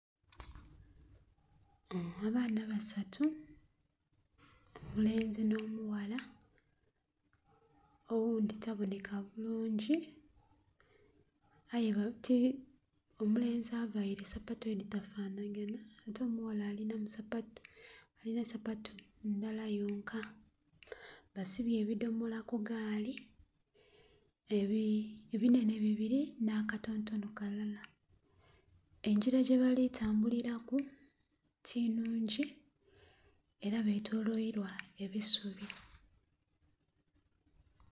Abaana basatu omulenzi nh'omughala, oghundhi tabonheka bulungi. Aye...omulenzi availe sapatu edhitafanhaganha, ate omughala alina sapatu ndala yonka. Basibye ebidhomola ku gaali, ebinhenhe bibiri nh'akatontono kalala. Engira gyebali tambuliraku ti nnhungi era betoloirwa ebisubi.